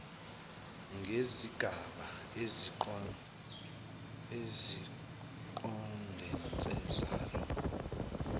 ngesigaba esiqondene salo